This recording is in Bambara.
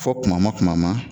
Fɔ tumama tumama